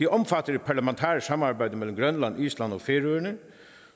omfatter et parlamentarisk samarbejde mellem grønland island og færøerne